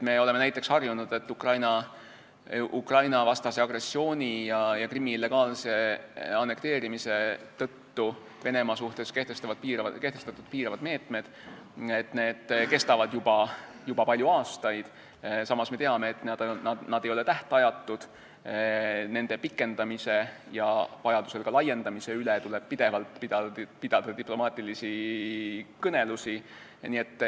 Me oleme näiteks harjunud, et Ukraina-vastase agressiooni ja Krimmi illegaalse annekteerimise tõttu Venemaa suhtes kehtestatud piiravad meetmed kestavad juba palju aastaid, samas me teame, et need ei ole tähtajatud, nende pikendamise ja vajaduse korral ka laiendamise üle tuleb pidevalt diplomaatilisi kõnelusi pidada.